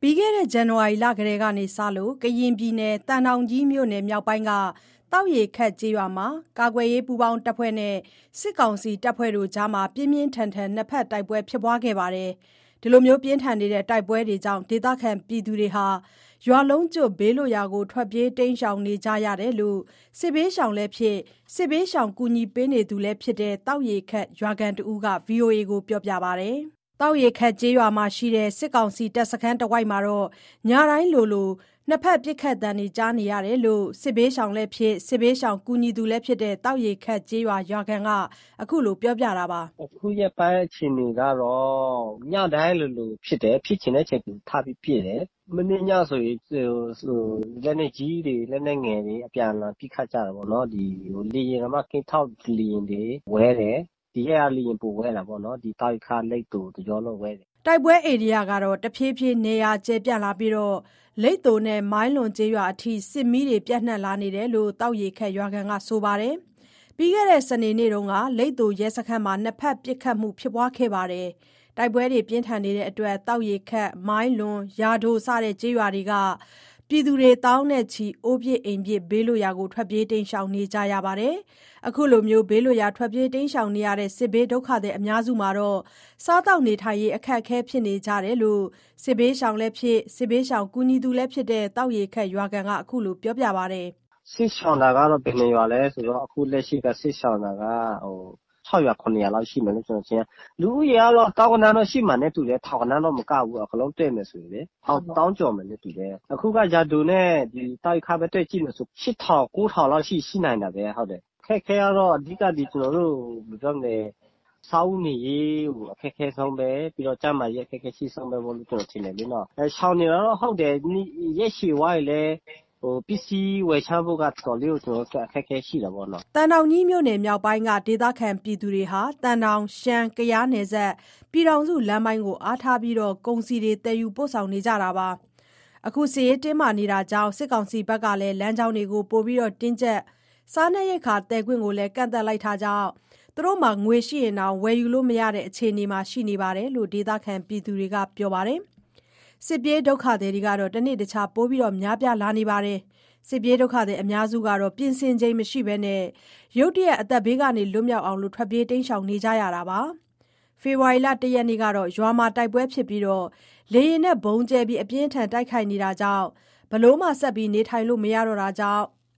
ပြီးခဲ့တဲ့ ဇန်နဝါရီလတည်းက သံတောင်ကြီးမြို့နယ် မြောက်ပိုင်းက သောက်ရေခပ်ကျေးရွာမှာ ကာကွယ်ရေးပူးပေါင်းတပ်ဖွဲ့နဲ့ စစ်ကောင်စီတပ်တို့အကြား ပြင်းပြင်းထန်ထန် နှစ်ဖက်တိုက်ပွဲ ဖြစ်ပွားခဲ့ပြီး ဒေသခံတွေ ရွာလုံးကျွတ် ဘေးလွတ်ရာကို ထွက်ပြေးတိမ်းရှောင်နေကြရတယ်လို့ စစ်ဘေးရှောင်လည်းဖြစ် စစ်ဘေးရှောင်ကူညီသူလည်းဖြစ်တဲ့ သောက်ရေခပ်ရွာခံတဦးက ပြောပါတယ်။ သောက်ရေခပ်ကျေးရွာမှာရှိတဲ့ စစ်ကောင်စီတပ်စခန်းတဝိုက်မှာ ညတိုင်းဆိုသလို နှစ်ဘက်ပစ်ခတ်သံတွေ ကြားနေရတာလို့ စစ်ဘေးရှောင်လည်းဖြစ် စစ်ဘေးရှောင်ကူညီသူလည်းဖြစ်တဲ့ သောက်ရေခပ်ရွာခံက ခုလို ပြောပါတယ်။ “ အခုရက်ပိုင်းအခြေအနေကတော့ ညတိုင်းလိုလိုဖြစ်တယ်။ ဖြစ်ချင်တဲ့အချိန် သူထပြီးပစ်တယ်။ မနေ့ညဆိုရင် လက်နက်ကြီးတွေ လက်နက်ငယ်တွေ အပြန်အလှန် ပစ်ခတ်ကြတာပေါ့နော်။ ကင်းထောက် လေယာဉ်တွေဝဲတယ်။ ဒီရက်က လေယာဉ်ပိုဝဲတာပေ့ါ ဒီသောက်ရေခပ် လိပ်သို တကျောလုံးဝဲတယ်။” တိုက်ပွဲဧရိယာတွေ တဖြေးဖြေးနေရာကျယ်ပြန့်လာပြီး လိပ်သိုနဲ့ မိုင်းလွန်ကျေးရွာအထိ စစ်မီးတွေပြန့်နှံ့လာတာလို့ သောက်ရေခပ်ရွာခံက ပြောပါတယ်။ ပြီးခဲ့တဲ့ စနေနေ့က လိပ်သိုရဲစခန်းမှာ နှစ်ဖက်ပစ်ခတ်မှုဖြစ်ပွားခဲ့တယ်လို့ ဆိုပါတယ်။ တိုက်ပွဲကြောင့် သောက်ရေခပ်၊ မိုင်းလွန်၊ ယာဒို စတဲ့ ကျေးရွာတွေက လူဦးရေ သောင်းနဲ့ချီ အိုးပစ်အိမ်ပစ် ဘေးလွတ်ရာကို ထွက်ပြေးတိမ်းရှောင်နေကြရတာပါ။ စစ်ပြေးဒုက္ခသည်အများစု စားရေးသောက်ရေး အခက်အခဲဖြစ်နေကြတယ်လို့ စစ်ဘေးရှောင်လည်းဖြစ် စစ်ဘေးရှောင်ကူညီသူလည်းဖြစ်တဲ့ သောက်ရေခပ်ရွာခံက အခုလို ပြောပါတယ်။ “စစ်ရှောင်တာကတော့ ဘယ်နှစ်ရွာလဲဆိုတော့ အခုလက်ရှိက စစ်ရှောင်တာ ၆ ရွာ၊ ၇ ရွာလောက်ရှိမယ်လို့ ကျနော်သိတယ်။ လူဦးရေကတော့ သောင်းဂဏန်းလောက်ရှိမယ်နဲ့ထင်တယ် ထောင်ဂဏန်းလောက်မကဘူး အကုန်လုံးတွက်မယ်ဆိုရင်လေ။ သောင်းကျော်မယ်နဲ့ထင်တယ်။ အခုက ယာဒိုနဲ့ ဒီသောက်ရေခပ်ပဲ တွက်ကြည့်မယ်ဆို ရှစ်ထောင်၊ ကိုးထောင်လောက်ရှိနိုင်တာပဲ ဟုတ်တယ်။ အခက်အခဲကတော့ အဓိက ကျနော်တို့ ဘယ်လိုပြောမလဲ စားဝတ်နေရေးကို အခက်ခဲဆုံးပဲ ပြီးတော့ ကျန်းမာရေး အခက်အခဲရှိဆုံးပဲ ကျနော်ထင်တယ်လေနော်။ ရှောင်နေတာကဟုတ်တယ် ရက်ရှည်သွားရင်လည်း ပစ္စည်းဝယ်ခြမ်းဖို့က တော်တော်လေးကို ကျနော်တို့အတွက် အခက်အခဲတာပေါ့နော် ဟုတ်။” သံတောင်ကြီးမြို့နယ်မြောက်ပိုင်းက ဒေသခံတွေဟာ သံတောင်-ရှမ်း-ကယားနယ်စပ် ပြည်ထောင်စုလမ်းပိုင်းကို အားထားပြီး ကုန်စည်သယ်ဆောင်နေကြတာပါ။ စစ်ရေးတင်းမာမှုကြောင့် စစ်ကောင်စီဘက်က လမ်းကြောင်းတွေ ပိုတင်းကြပ် စားနပ်ရိက္ခာသယ်ခွင့် ကန့်သတ်လိုက်တာကြောင့် ပိုက်ဆံရှိရင်တောင် ဝယ်ယူလို့မရတဲ့ အခြေအနေမှာ ရှိနေတယ်လို့ ဒေသခံတွေက ပြောပါတယ်။ စစ်ပြေးဒုက္ခသည်တွေဟာ တနေ့တခြား ပိုမိုများပြားလာပြီး အများစုက ပြင်ဆင်ချိန်မရဘဲ ရုတ်တရက် အသက်ဘေးက လွတ် မြောက်အောင် ထွက်ပြေးကြရပါတယ်။ ဖေဖော်ဝါရီလ ၁ ရက်က ရွာမှာတိုက်ပွဲဖြစ်ပြီး လေယာဉ်နဲ့ဗုံးကြဲ အပြင်းအထန်တိုက်ခိုက်နေကြတာမို့ ဘယ်လိုမှနေထိုင်မရတော့လို့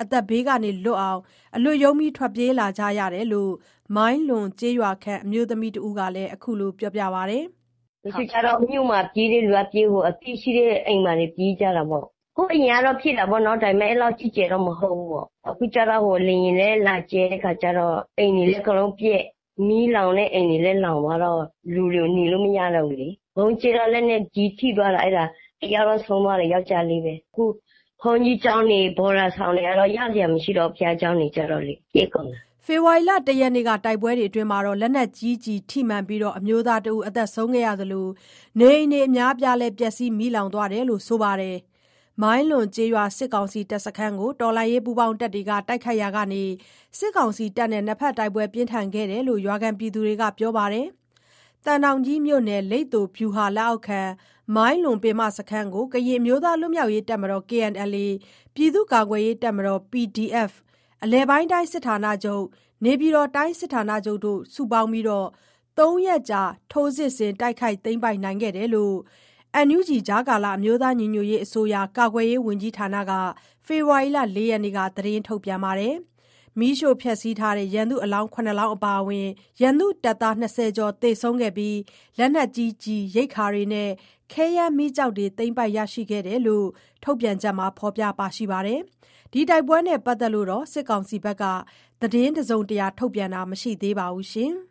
အသက်ဘေးလွတ်ရုန်း ထွက်ပြေးလာတယ်လို့ မိုင်းလွန်ကျေးရွာခံ အမျိုးသမီးတဦးက ခုလို ပြောပါတယ်။ “တချို့ကျတော့ မြို့မှာပြေးတဲ့လူက ပြေးပေါ့။ အသိရှိတဲ့အိမ်တွေ ပြေးကြတာပေါ့။ ဟိုအရင်တုန်းကဖြစ်တာပေါ့နော် ဒါပေမဲ့ ကြီးကျယ်တော့ မဟုတ်ဘူးပေါ့။ အခုကျတော့ လေယာဉ်လည်း ကြဲတဲ့အချကျတော့ အိမ်တွေ အကုန်လုံးပျက်၊ မီးလောင်တဲ့ အိမ်တွေလည်း လောင်သွားတော့ လူတွေ နေလို့မရတော့ဘူးလေ။ ဗုံးကြဲတော့ လက်နက်ကြီးထိသွားတာ အဲ့ဒါ တစ်ယောက်တော့ ဆုံးသွားတယ် ယောကျာ်းလေးပဲ။ အခု ဘုန်းကြီးကျောင်းတွေ ဘော်ဒါဆောင်တွေကတော့ ရစရာမရှိတော့ဘူး၊ ဘုရားကျောင်းတွေကျတော့လေ။” ဖေဖော်ဝါရီလ ၁ ရက်က လက်နက်ကြီးကျည်းထိမှန်ပြီး အမျိုးသားတဦး သေဆုံးသွားသလို နေအိမ်တွေ အများအပြား ပျက်စီး၊ မီလောင်သွားတာလို့ ဆိုပါတယ်။ မိုင်းလွန်ကျေးရွာ စစ်ကောင်စီတပ်စခန်းကို တော်လှန်ရေးပူးပေါင်းတပ်ဖွဲ့တွေက တိုက်ခိုက်ရာကနေ စစ်ကောင်စီတပ်နဲ့ နှစ်ဖက်တိုက်ပွဲပြင်းထန်ခဲ့တာလို့ ရွာခံတွေက ပြောပါတယ်။ သံတောင်ကြီးမြို့နယ် လိပ်သိုဗျုဟာ လက်အောက်ခံ မိုင်းလွန်ပင်မစခန်းကို ကရင်အမျိုးသားလွတ်မြောက်ရေး တပ်မတော် ၊ ပြည်သူ့ကာကွယ်ရေးတပ်မတော် ၊ အလယ်ပိုင်းတိုင်းစစ်ဌာနချုပ်၊ နေပြည်တော်တိုင်းစစ်ဌာနတို့ ပူးပေါင်းပြီး ၃ရက်ကြာ ထိုးစစ်ဆင် တိုက်ခိုက်သိမ်းပိုက်နိုင်ခဲ့ကြောင်း NUG ကာကွယ်ရေးဝန်ကြီးဌာနက ဖေဖော်ဝါရီလ ၄ရက်နေ့မှာ ထုတ်ပြန်ထားပါတယ်။ မီးရှို့ဖျက်ဆီးထားတဲ့ ရန်သူအလောင်း ၇လောင်းအပါအဝင် ရန်သူတပ်သား ၂၀ ကျော် သေဆုံးခဲ့ပြီး လက်နက်ကြီးကျည်၊ ရိက္ခာများနဲ့ ခဲယမ်းမီးကျောက်တွေ သိမ်းပိုက်ရရှိခဲ့ကြောင်း ထုတ်ပြန်ချက်မှာ ဖော်ပြထားပါတယ်။ ဒါနဲ့ ပတ်သက်လို့ စစ်ကောင်စီဘက်က တစုံတရာထုတ်ပြန်တာမရှိသေးပါဘူး။